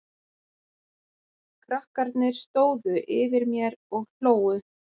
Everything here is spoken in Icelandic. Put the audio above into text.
Krakkarnir stóðu yfir mér og hlógu.